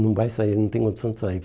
Não vai sair, não tem condição de sair.